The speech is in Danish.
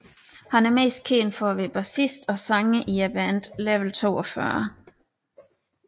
Han er mest kendt for at være bassist og sanger i bandet Level 42